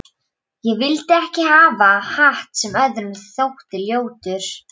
Ég vildi ekki hafa hatt sem öðrum þótti ljótur.